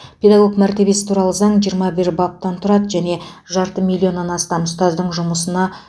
педагог мәртебесі туралы заң жиырма бір баптан тұрады және жарты миллионнан астам ұстаздың жұмысына қатысты